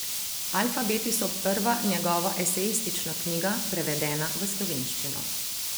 Alfabeti so prva njegova esejistična knjiga, prevedena v slovenščino.